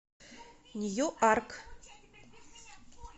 ньюарк